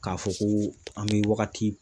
K'a fɔ ko an bɛ wagati